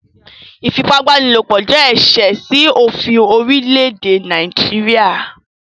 Ífipabanilopo jẹ̀ ẹṣẹ̀ sí ofín orílẹ̀èdè Nàìjíríà